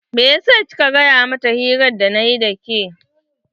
Meyasa kika gaya mata hirar da nayi da ke?